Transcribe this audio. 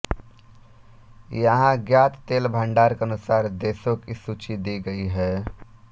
यहाँ ज्ञात तेल भंडार के अनुसार देशों की सूची दी गई है